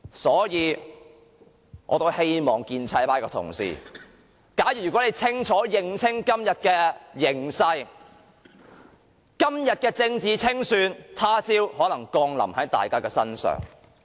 所以，我希望建制派的同事，如果你們能認清今天的形勢，便明白今天的政治清算，他朝可能降臨在大家身上。